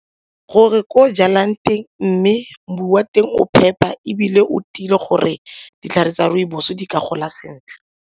Gore ko o jalang teng mme wa teng o phepa ebile o dile gore ditlhare tsa rooibos di ka gola sentle.